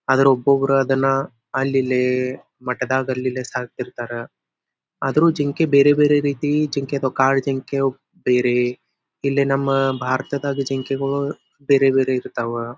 ಆದ್ರೆ ಒಬೊಬ್ಬರು ಅದನ್ನ ಅಲ್ಲಿ ಇಲ್ಲಿ ಮಠದಾಗ ಅಲ್ಲಲ್ಲಿ ಸಾಕ್ತಿರ್ತಾರ ಆದ್ರೂ ಬೇರೆ ಬೇರೆ ರೀತಿ ಜಿಂಕೆ ಅಥವಾ ಕಾಡು ಜಿಂಕೆ ಬೇರೆ ನಮ್ ಭಾರತದಾಗ ಜಿಂಕೆಗಳು ಬೇರೆ ಬೇರೆ ಇರ್ತಾವ.